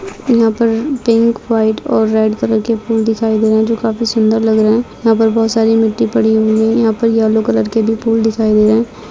यहाँ पर pink white और रेड कलर के फूल दिखाई दे रहे हैं जो काफी सुंदर लग रहे है। यहाँ पर बहोत सारी मिट्टी पड़ी हुई है। यहाँ पर येल्लो कलर के भी फूल दिखाई दे रहे हैं।